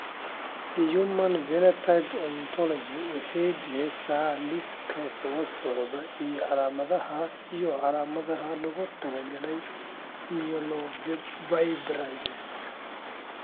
The Human Phenotype Ontology waxay bixisaa liiska soo socda ee calaamadaha iyo calaamadaha loogu talagalay Myelofibrosis.